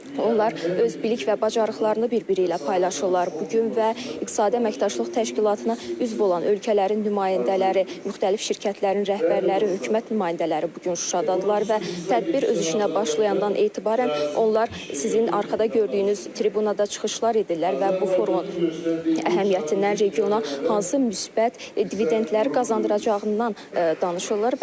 Onlar öz bilik və bacarıqlarını birbiri ilə paylaşırlar bu gün və İqtisadi Əməkdaşlıq Təşkilatına üzv olan ölkələrin nümayəndələri, müxtəlif şirkətlərin rəhbərləri, hökumət nümayəndələri bu gün Şuşadadırlar və tədbir öz işinə başlayandan etibarən onlar sizin arxada gördüyünüz tribunada çıxışlar edirlər və bu forumun əhəmiyyətindən, regiona hansı müsbət dividentləri qazandıracağından danışırlar.